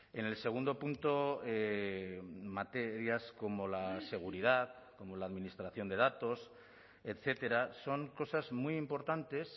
en el segundo punto materias como la seguridad como la administración de datos etcétera son cosas muy importantes